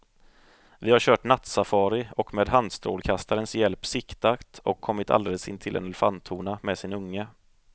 Vi har kört nattsafari och med handstrålkastarens hjälp siktat och kommit alldeles intill en elefanthona med sin unge.